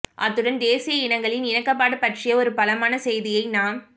அத்துடன் தேசிய இனங்களின் இணக்கப்பாடு பற்றிய ஒரு பலமான செய்தியை நாம்